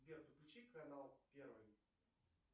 сбер включи канал первый